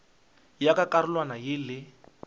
ya ka karolwana ya le